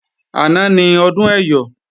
Àná ni Ọdún Ẹyọ̀